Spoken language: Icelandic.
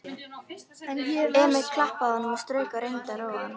Emil klappaði honum og strauk og reyndi að róa hann.